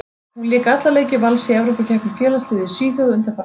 Hún lék alla leiki Vals í Evrópukeppni félagsliða í Svíþjóð undanfarna viku.